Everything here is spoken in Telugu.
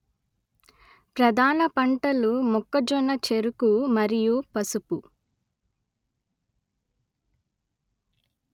ప్రధాన పంటలు మొక్కజొన్న చెరకు మరియు పసుపు